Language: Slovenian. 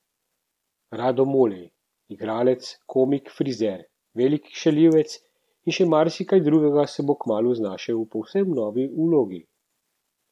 Rado Mulej, igralec, komik, frizer, velik šaljivec in še marsikaj drugega, se bo kmalu znašel v povsem novi vlogi.